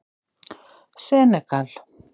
Senegal